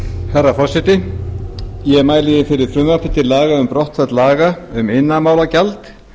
herra forseti ég mæli hér fyrir frumvarpi til laga um brottfall laga um iðnaðarmálagjald